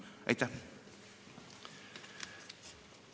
Aitäh!